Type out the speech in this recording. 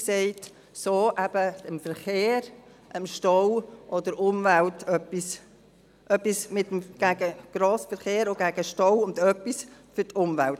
So machen sie etwas gegen den vielen Verkehr, den Stau und für die Umwelt.